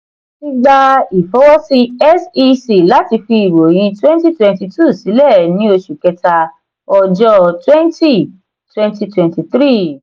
igba ifọwọsi sec lati fi iroyin twenty twenty two silẹ ni oṣu kẹta ọjọ́ twenty twenty twenty three.